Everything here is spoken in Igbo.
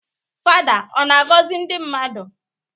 Fada ọ na-agọzị ndị mmadụ?